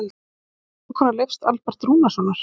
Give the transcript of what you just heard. Þú varst vinkona Leifs Alberts Rúnarssonar.